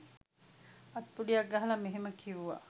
අත්පුඩියක් ගහලා මෙහෙම කිව්වා